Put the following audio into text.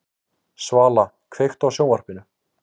Svala, kveiktu á sjónvarpinu.